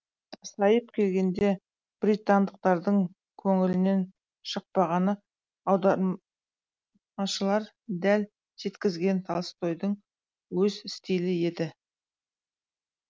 сайып келгенде британдықтардың көңілінен шықпағаны аудармашылар дәл жеткізген толстойдың өз стилі еді